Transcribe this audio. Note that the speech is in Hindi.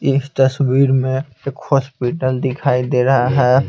इस तस्वीर में एक हॉस्पिटल दिखाई दे रहा है।